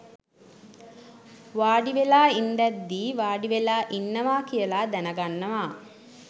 වාඩිවෙලා ඉන්දැද්දී වාඩිවෙලා ඉන්නවා කියල දැනගන්නවා